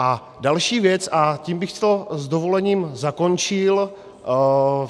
A další věc, a tím bych to s dovolením zakončil.